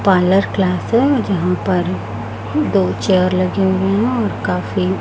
parlour class है और जहाँ पर दो चेयर लगे हुए है काफी --